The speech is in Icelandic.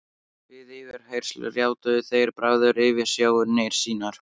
Við yfirheyrslur játuðu þeir bræður yfirsjónir sínar.